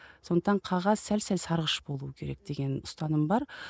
сондықтан қағаз сәл сәл сарғыш болу керек деген ұстаным бар